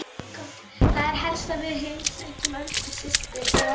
Það er helst að við heimsækjum Öldu systur og